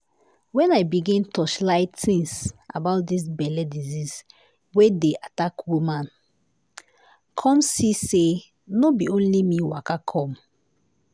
when i begin torchlight tins about dis belle disease wey dey attack womani come see say no bi only me waka come.